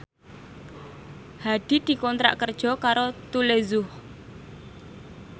Hadi dikontrak kerja karo Tous Les Jour